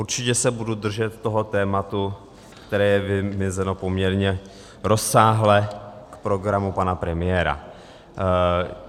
Určitě se budu držet toho tématu, které je vymezeno poměrně rozsáhle k programu pana premiéra.